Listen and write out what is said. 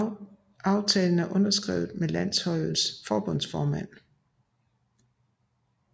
Aftalen er underskrevet med landets fodboldforbundsformand J